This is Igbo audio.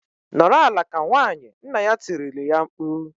"Nọrọ ala ka nwaanyị!" Nna ya tirile ya mkpu.